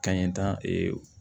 Ka ɲɛtan